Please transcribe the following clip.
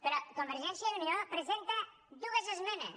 però convergència i unió presenta dues esmenes